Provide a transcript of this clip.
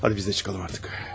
Hadi, biz də çıxaq artıq.